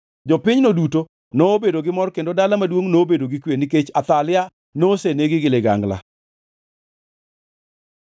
Jopinyno duto nobedo gi mor kendo dala maduongʼ nobedo gi kwe, nikech Athalia nosenegi gi ligangla.